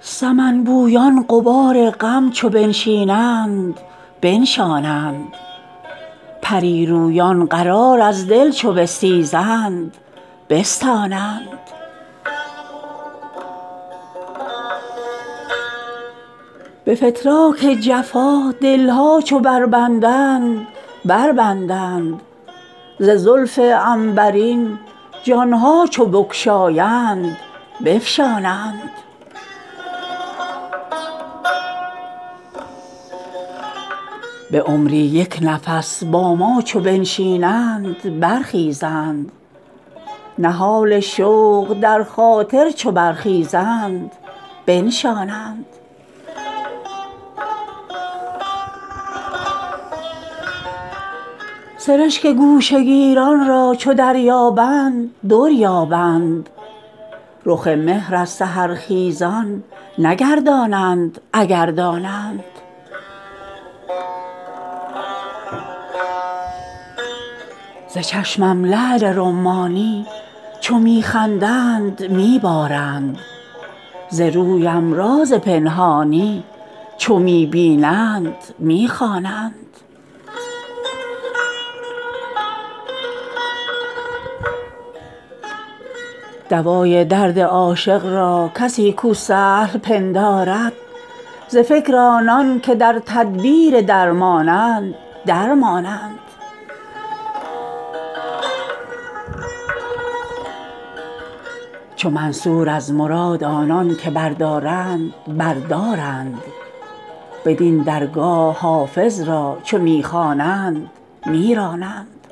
سمن بویان غبار غم چو بنشینند بنشانند پری رویان قرار از دل چو بستیزند بستانند به فتراک جفا دل ها چو بربندند بربندند ز زلف عنبرین جان ها چو بگشایند بفشانند به عمری یک نفس با ما چو بنشینند برخیزند نهال شوق در خاطر چو برخیزند بنشانند سرشک گوشه گیران را چو دریابند در یابند رخ مهر از سحرخیزان نگردانند اگر دانند ز چشمم لعل رمانی چو می خندند می بارند ز رویم راز پنهانی چو می بینند می خوانند دوای درد عاشق را کسی کو سهل پندارد ز فکر آنان که در تدبیر درمانند در مانند چو منصور از مراد آنان که بردارند بر دارند بدین درگاه حافظ را چو می خوانند می رانند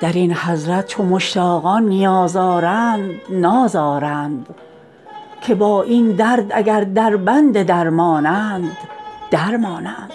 در این حضرت چو مشتاقان نیاز آرند ناز آرند که با این درد اگر دربند درمانند در مانند